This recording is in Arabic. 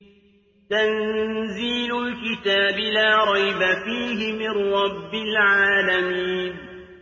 تَنزِيلُ الْكِتَابِ لَا رَيْبَ فِيهِ مِن رَّبِّ الْعَالَمِينَ